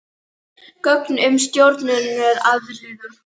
Offita eykur svo enn frekar líkurnar á að brjósklos myndist.